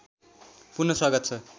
पुन स्वागत छ